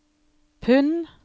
pund